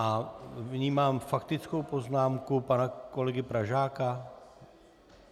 A vnímám faktickou poznámku pana kolegy Pražáka?